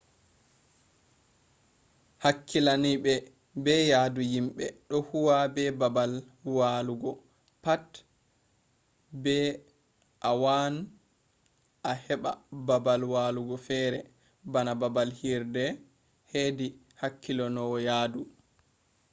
hakkilinaaɓe be yahdu yimɓe ɗo huwa be baabal walugo pat be a waan a heɓɓa baabal walugo fere bana baabal hirde hedi hakkilinowo yahdu